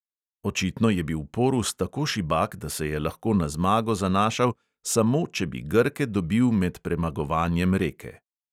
Očitno je bil porus tako šibak, da se je lahko na zmago zanašal samo, če bi grke dobil med premagovanjem reke.